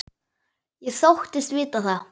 Ég þóttist vita það.